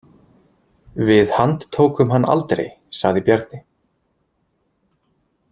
Við handtókum hann aldrei, sagði Bjarni.